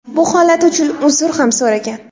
Bu holat uchun uzr ham so‘ragan.